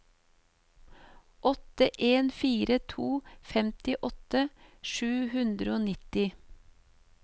åtte en fire to femtiåtte sju hundre og nitti